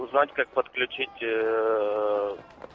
узнать как подключить